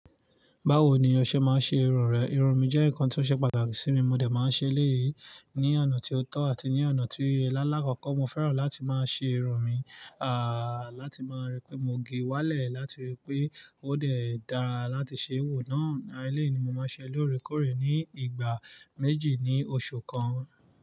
Báwo ni ọ ṣe máa ń ṣe irun rẹ? Irun mi jẹ́ nǹkan tí ó ṣe pàtàkì sí mi, mo dẹ̀ máa ń ṣe léyìí ní ọ̀nà tí ó tọ́ àti ní ọ̀nà tí oye lálá. Àkọ́kọ́ mo fẹ́ràn láti máa ṣe irun mi, à, láti máa rí pé mo gẹ wálẹ̀, láti rí pé ó dẹ̀ dáa láti ṣe wò náà. Elẹ́yìí ni mo máa ń ṣe loorekórẹ̀ ní ìgbà méjì ní oṣù kan.